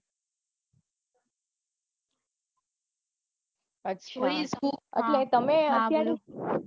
આચ્છા